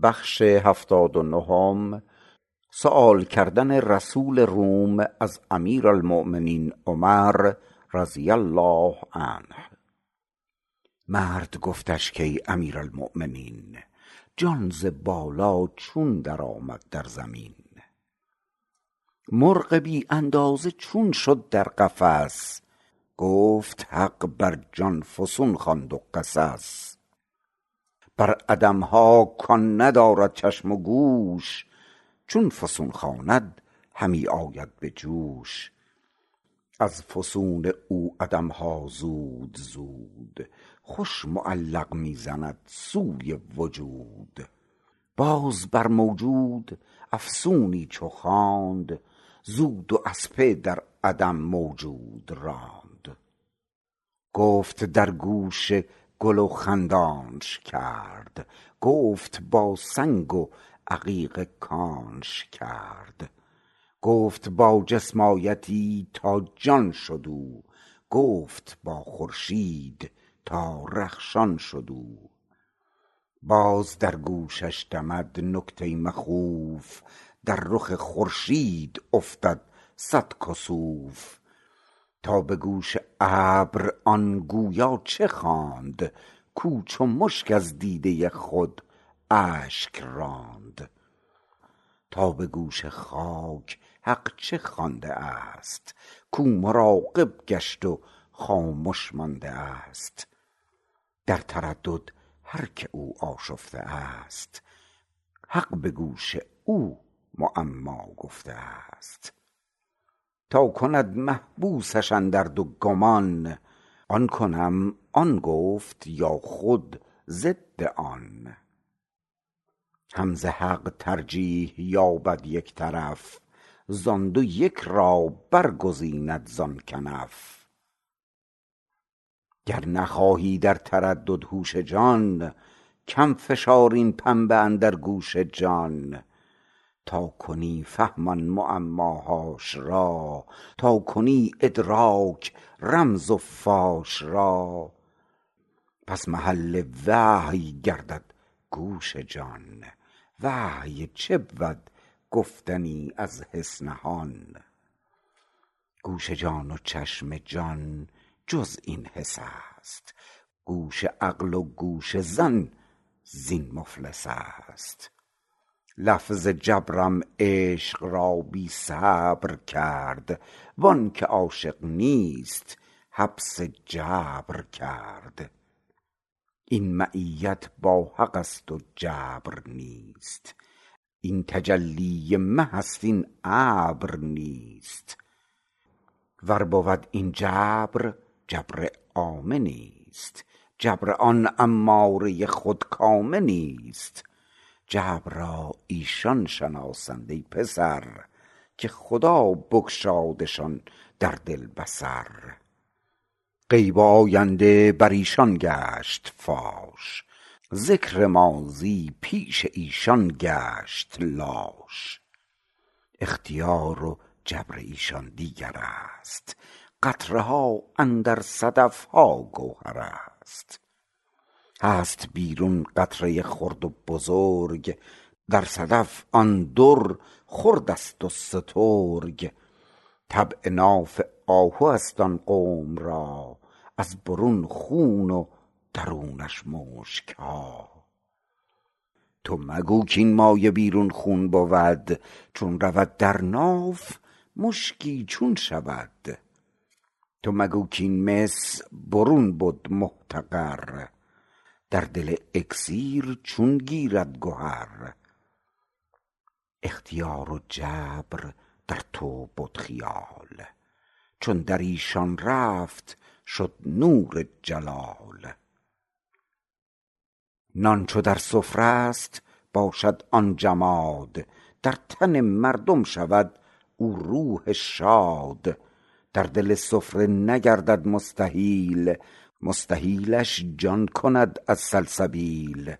مرد گفتش کای امیرالمؤمنین جان ز بالا چون در آمد در زمین مرغ بی اندازه چون شد در قفس گفت حق بر جان فسون خواند و قصص بر عدمها کان ندارد چشم و گوش چون فسون خواند همی آید به جوش از فسون او عدمها زود زود خوش معلق می زند سوی وجود باز بر موجود افسونی چو خواند زو دو اسپه در عدم موجود راند گفت در گوش گل و خندانش کرد گفت با سنگ و عقیق کانش کرد گفت با جسم آیتی تا جان شد او گفت با خورشید تا رخشان شد او باز در گوشش دمد نکته مخوف در رخ خورشید افتد صد کسوف تا به گوش ابر آن گویا چه خواند کو چو مشک از دیده خود اشک راند تا به گوش خاک حق چه خوانده است کو مراقب گشت و خامش مانده است در تردد هر که او آشفته است حق به گوش او معما گفته است تا کند محبوسش اندر دو گمان آن کنم آن گفت یا خود ضد آن هم ز حق ترجیح یابد یک طرف زان دو یک را برگزیند زان کنف گر نخواهی در تردد هوش جان کم فشار این پنبه اندر گوش جان تا کنی فهم آن معماهاش را تا کنی ادراک رمز و فاش را پس محل وحی گردد گوش جان وحی چه بود گفتنی از حس نهان گوش جان و چشم جان جز این حس است گوش عقل و گوش ظن زین مفلس است لفظ جبرم عشق را بی صبر کرد وانک عاشق نیست حبس جبر کرد این معیت با حقست و جبر نیست این تجلی مه است این ابر نیست ور بود این جبر جبر عامه نیست جبر آن اماره خودکامه نیست جبر را ایشان شناسند ای پسر که خدا بگشادشان در دل بصر غیب و آینده بریشان گشت فاش ذکر ماضی پیش ایشان گشت لاش اختیار و جبر ایشان دیگرست قطره ها اندر صدفها گوهرست هست بیرون قطره خرد و بزرگ در صدف آن در خردست و سترگ طبع ناف آهوست آن قوم را از برون خون و درونشان مشکها تو مگو کین مایه بیرون خون بود چون رود در ناف مشکی چون شود تو مگو کین مس برون بد محتقر در دل اکسیر چون گیرد گهر اختیار و جبر در تو بد خیال چون دریشان رفت شد نور جلال نان چو در سفره ست باشد آن جماد در تن مردم شود او روح شاد در دل سفره نگردد مستحیل مستحیلش جان کند از سلسبیل